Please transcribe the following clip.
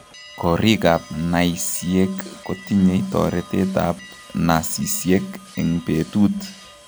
Koriik ab naisiek kotinye toretet ab nasisiek eng' betut